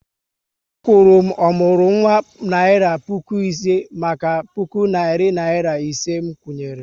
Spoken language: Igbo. A kwuru m ọmụrụnwa naira puku ise maka puku narị naira ise nkwụnye ré